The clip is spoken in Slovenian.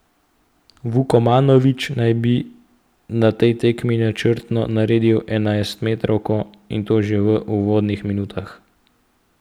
Vukomanović naj bi na tej tekmi načrtno naredil enajstmetrovko, in to že v uvodnih minutah.